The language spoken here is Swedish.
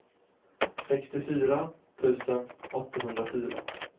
sextiofyra tusen åttahundrafyra